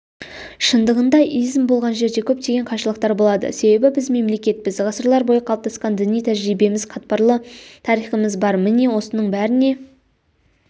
шындығында изм болған жерде көптеген қайшылықтар болады себебі біз мемлекетпіз ғасырлар бойы қалыптасқан діни тәжірибеміз қатпарлы тарихымыз бар міне осының бәріне